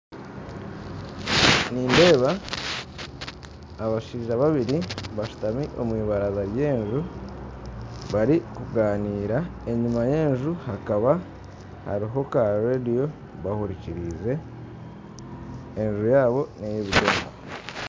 Nindeeba abashaija babiri bashutami omwibaraza ry'enju barikuganira, enyima y'enju hakaba hariyo ka radiyo bahurikirize, enju yaabo neya ebidongo.